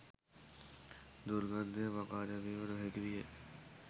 දුර්ගන්ධය මකාදැමිය නොහැකි විය